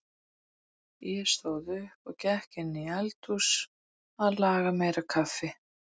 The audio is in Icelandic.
Ég stóð upp og gekk inn í eldhús að laga meira kaffi.